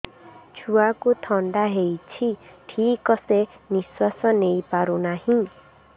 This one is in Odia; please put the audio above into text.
ଛୁଆକୁ ଥଣ୍ଡା ହେଇଛି ଠିକ ସେ ନିଶ୍ୱାସ ନେଇ ପାରୁ ନାହିଁ